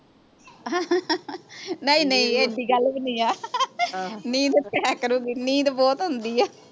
ਨਹੀਂ ਨਹੀਂ ਐਡੀ ਗੱਲ ਵੀ ਨਹੀਂ ਆ ਹਾਂ ਨੀਂਦ ਤੇ ਆਇਆ ਕਰੂਗੀ ਨੀਂਦ ਬਹੁਤ ਆਉਂਦੀ ਆ